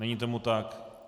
Není tomu tak.